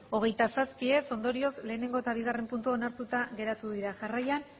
hogeita zazpi ez ondorioz lehenengo eta bigarren puntuak onartuta geratu dira jarraian